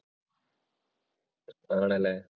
ആണില്ലേ?